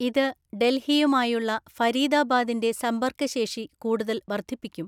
ഇത് ഡൽഹിയുമായുള്ള ഫരീദാബാദിന്റെ സമ്പര്‍ക്കശേഷി കൂടുതൽ വർധിപ്പിക്കും.